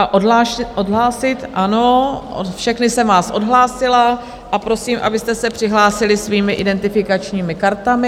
A odhlásit, ano, všechny jsem vás odhlásila a prosím, abyste se přihlásili svými identifikačními kartami.